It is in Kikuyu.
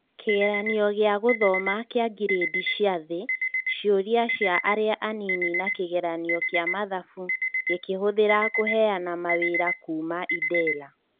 Kĩgeranio gĩa gũthoma kĩa ngirĩndi cia thĩ, cĩũria cia arĩa anini na kĩgeranio kĩa mathabu gĩkĩhũthira kũheyana mawĩra kuuma Idela.